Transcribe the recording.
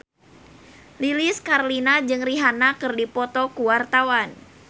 Lilis Karlina jeung Rihanna keur dipoto ku wartawan